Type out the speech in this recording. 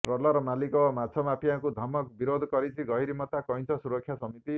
trawler ମାଲିକ ଓ ମାଛ ମାଫିଆଙ୍କ ଧମକକୁ ବିରୋଧ କରିଛି ଗହୀରମଥା କଇଁଛ ସୁରକ୍ଷା ସମିତି